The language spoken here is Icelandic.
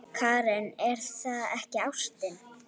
Karen: Er það ekki ástin?